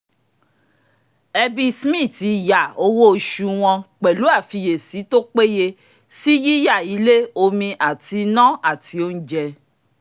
ẹbí smith yà owó oṣù wọn pẹ̀lú àfiyèsí tó péye sí yíyà ilé omi àti iná àti oúnjẹ